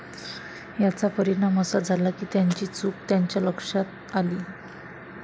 याचा परिणाम असा झाला, की त्याची चूक त्याच्या लक्षात आली.